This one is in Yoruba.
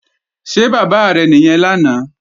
Ṣé bàbá rẹ̀ nìyẹn lánàá?